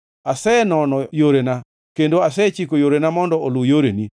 Asenono yorena kendo asechiko yorena mondo oluw yoreni.